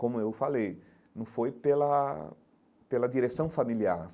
Como eu falei, não foi pela pela direção familiar.